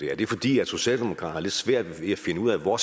er det fordi socialdemokratiet svært ved at finde ud af hvor